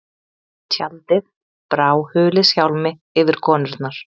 Tjaldið brá huliðshjálmi yfir konurnar.